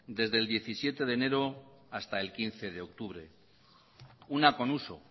desde el diecisiete de enero hasta el quince de octubre una reunión con uso